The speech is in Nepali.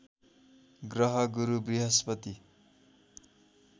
ग्रह गुरु बृहस्पति